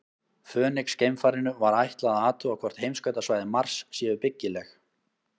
Fönix-geimfarinu var ætlað að athuga hvort heimskautasvæði Mars séu byggileg.